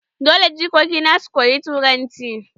Dole jikoki na su koyi turanci.